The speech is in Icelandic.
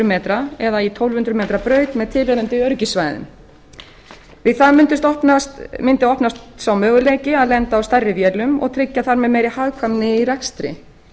metra eða í tólf hundruð metra braut með tilheyrandi öryggissvæðum við það mundi opnast sá möguleiki að lenda á stærri vélum og tryggja þar með meiri hagkvæmni í rekstri